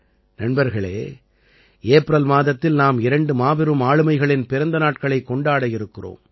நண்பர்களே ஏப்ரல் மாதத்தில் நாம் இரண்டு மாபெரும் ஆளுமைகளின் பிறந்த நாட்களைக் கொண்டாட இருக்கிறோம்